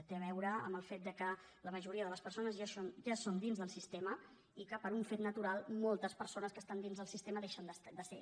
té a veure amb el fet que la majoria de les persones ja són dins del sistema i que per un fet natural moltes persones que estan dins del sistema deixen de serhi